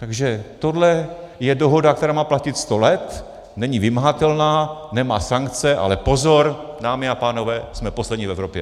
Takže tohle je dohoda, která má platit sto let, není vymahatelná, nemá sankce - ale pozor, dámy a pánové, jsme poslední v Evropě!